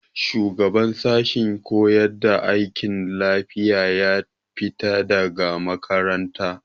Shugaban sashen koyar da aikin lafiya ya fita daga makaranta.